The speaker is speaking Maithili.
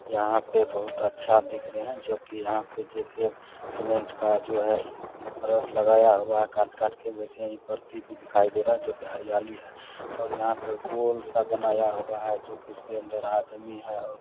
यहां पे बहुत अच्छा दिख रहे है जो कि यहां पे जैसे सीमेंट का जो है इ इ फर्श लगाया हुआ है काट-काट के वैसे ही परती दिखाई दे रहा हैं जो की हरियाली है और यहां पे गोल-सा बनाया हुआ है जो कि इसके अंदर आदमी है और --